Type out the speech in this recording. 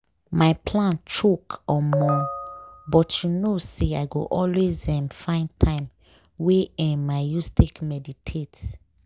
my plan choke omo!!! but you know say i go always um find time wey um i use take meditate.